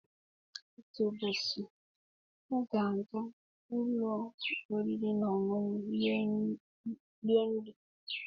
Otu ụbọchị m ga-aga ụlọ oriri na ọṅụṅụ iri nri